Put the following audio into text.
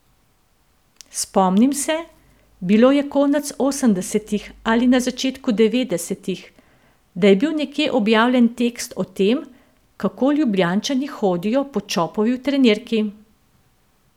Spomnim se, bilo je konec osemdesetih ali na začetku devetdesetih, da je bil nekje objavljen tekst o tem, kako Ljubljančani hodijo po Čopovi v trenirki.